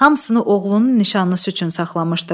Hamısını oğlunun nişanı üçün saxlamışdı.